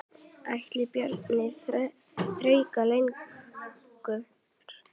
Ætli Bjarni þrauki lengur?